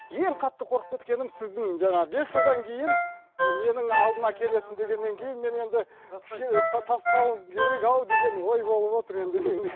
ең қатты қорқып кеткенім сіздің жаңағы бес жылдан кейін менің алдыма келесің дегеннен кейін мен енді кішкене тастау керек ау деген ой болып отыр енді менде